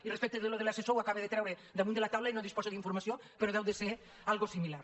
i respecte a això de l’assessor ho acaba de treure damunt la taula i no en disposo d’in·formació però deu ser alguna cosa similar